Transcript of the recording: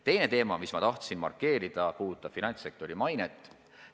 Teine teema, mida ma tahan markeerida, puudutab finantssektori mainet.